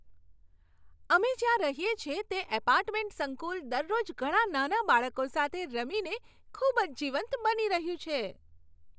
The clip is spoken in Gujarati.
અમે જ્યાં રહીએ છીએ તે એપાર્ટમેન્ટ સંકુલ દરરોજ ઘણા નાના બાળકો સાથે રમીને ખૂબ જ જીવંત બની રહ્યું છે.